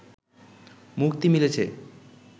মুক্তি মিলেছে